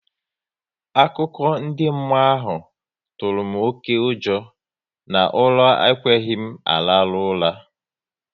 Akụkọ ndị mmụọ ahụ tụrụ m oké ụjọ na ụra ekweghị m araru ura